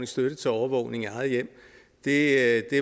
støtte til overvågning i eget hjem det